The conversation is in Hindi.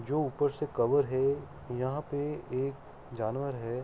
जो उपर से कवर है। यहाँ पे एक जानवर है।